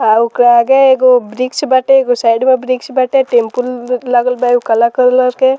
और ओकर आगे एगो वृक्ष बाटे एगो साइड में वृक्ष बाटे टेम्पुल एगो लगल बा उ काला कलर के |